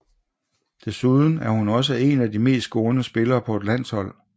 Desuden er hun også én af de mest scorende spillere på et landshold